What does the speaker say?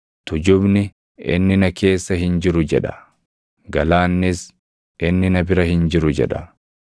Tujubni, “Inni na keessa hin jiru” jedha; galaannis, “Inni na bira hin jiru” jedha.